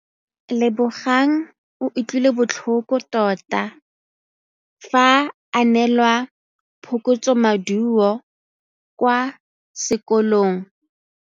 Lebogang o utlwile botlhoko tota fa a neelwa phokotsômaduô kwa sekolong.